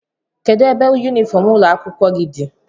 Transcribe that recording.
kedụ ebe yunifọm ụlọ akwụkwọ gị dị?